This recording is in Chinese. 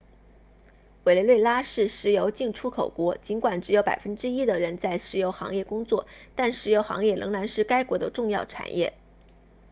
委内瑞拉是石油净出口国尽管只有百分之一的人在石油行业工作但石油行业仍然是该国的重要产业